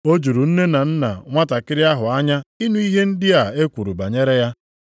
O juru nne na nna nwantakịrị ahụ anya ịnụ ihe ndị a e kwuru banyere ya.